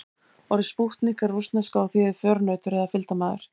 Orðið spútnik er rússneska og þýðir förunautur eða fylgdarmaður.